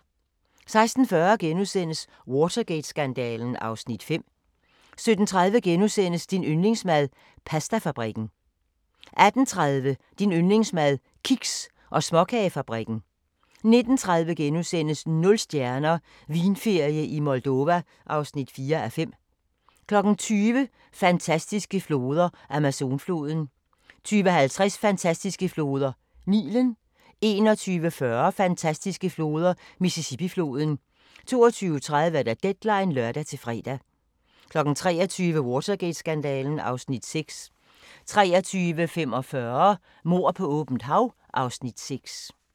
16:40: Watergate-skandalen (Afs. 5)* 17:30: Din yndlingsmad: Pastafabrikken * 18:30: Din yndlingsmad: Kiks- og småkagefabrikken 19:30: Nul stjerner – Vinferie i Moldova (4:5)* 20:00: Fantastiske floder: Amazonfloden 20:50: Fantastiske floder: Nilen 21:40: Fantastiske floder: Mississippifloden 22:30: Deadline (lør-fre) 23:00: Watergate-skandalen (Afs. 6) 23:45: Mord på åbent hav (Afs. 6)